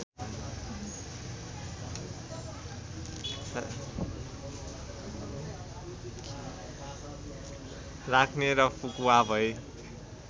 राख्ने र फुकुवा भई